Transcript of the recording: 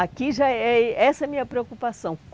Aqui já é... Essa é a minha preocupação.